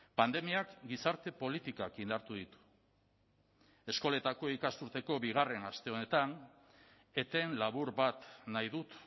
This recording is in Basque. pandemiak gizarte politikak indartu ditu eskoletako ikasturteko bigarren aste honetan eten labur bat nahi dut